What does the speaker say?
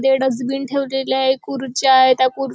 ते डस्टबिन ठेवलेले आहे खुर्च्या आहेत. त्या खुर--